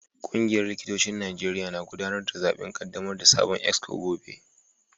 Kungiyar likitocin Najeriya na gudanar da zaben kaddamar da sabon exco gobe